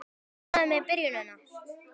Ertu ánægður með byrjunina?